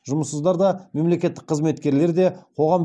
жұмыссыздар да мемлекеттік қызметкерлер де қоғам